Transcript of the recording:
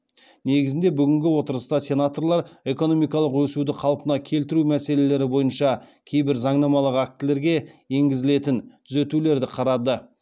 негізінде бүгінгі отырыста сенаторлар экономикалық өсуді қалпына келтіру мәселелері бойынша кейбір заңнамалық актілерге енгізілетін түзетулерді қарады